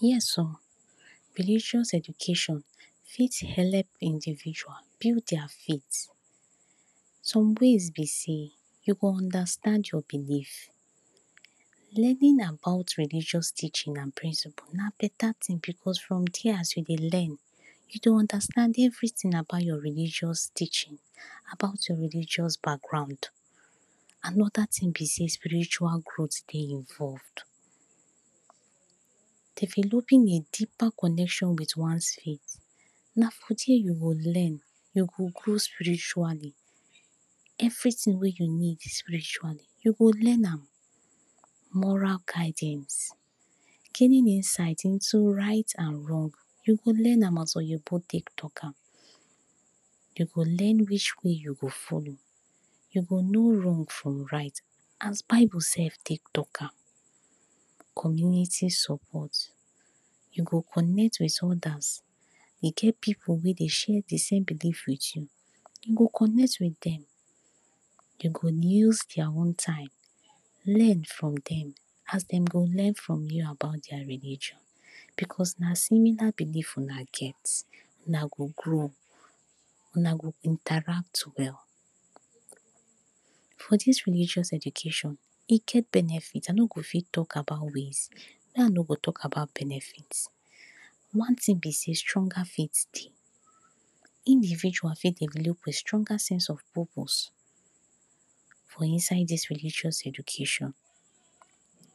Yes! oh religious education fit help individual build dia faith. some ways be sey you go understand your belief; learning about religious teaching and principles na beta ting because from there, as you dey learn you dey understand everyting about your religious teaching; about your religious background. Anoda ting be sey, spiritual growth dey involved; developing a deeper connection with oneself na for there you go learn; you go grow spiritually. everyting wey you need and you go learn am; moral guidance, giving insights Into right and wrong, you go learn am as well, talk am you go learn reach wey you go follow you go know wrong from right as bible sef take talk am. community support: you go connect with others; e get pipu wey dey share de same beliefs with you; you go connect with dem. you go use dia own time learn from dem as dem go learn from you about dia religion because na similar belief una get. Una go grow una go Interact well. For dis religious education, e get benefits I no go fit talk about ways; me, I no go talk about benefits. one ting be sey stronger faith dey. if you eventually fit develop a stronger sense of purpose for inside dis religious education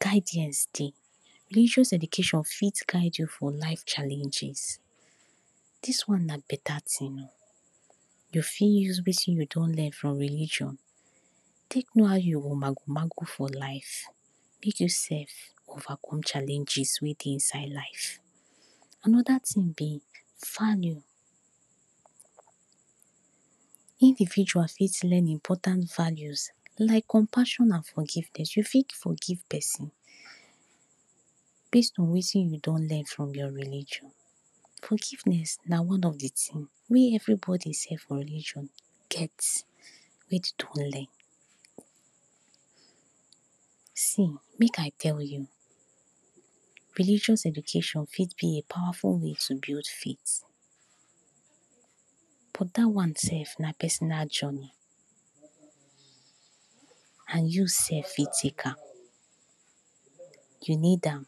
guidance, dey religious education fit guide you for life challenges. dis one na beta ting oh. you fit use wetin you don learn for religion take know how you go mago mago for life make you sef overcome challenges wey dey inside life. anoda ting be values: Individuals fit learn important values like compassion and forgiveness. you fit forgive person based on wetin you don learn from your religion. Forgiveness na one of de tings wey everybody sef for religion reach to learn. see make I tell, you religious education fit be a powerful way to build faith but dat one sef na personal journey and you sef fit take am you need am.